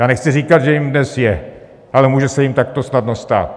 Já nechci říkat, že jím dnes je, ale může se jím takto snadno stát.